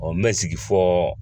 n mɛ sigi fɔ